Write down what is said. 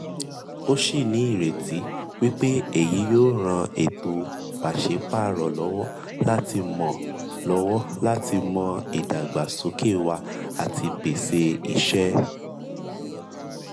ó sì ní ìrètí wípé èyí yóò ran ètò pàṣẹ párọ̀ lọ́wọ́ láti mọ lọ́wọ́ láti mọ ìdàgbàsókè wá àti pèsè ìṣe.